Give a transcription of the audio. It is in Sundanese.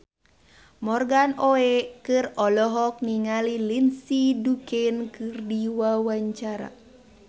Morgan Oey olohok ningali Lindsay Ducan keur diwawancara